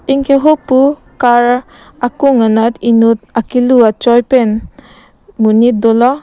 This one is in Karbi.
anke hupu car akung anat enut akelu achoi pen monit dolo.